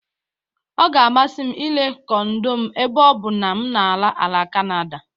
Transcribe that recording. Ọ ga-amasị m ire kondo m ebe ọ bụ na m na-ala Kanada.